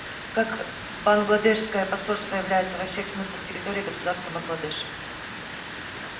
как бангладешское посольство является во всех смыслах территорией государства бангладеш